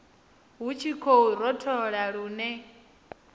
hu tshi khou rothola lune